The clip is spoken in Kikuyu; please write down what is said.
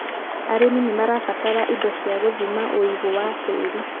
arĩmi nĩ marabatara Indo cia gũthima ũigũ wa tĩĩri.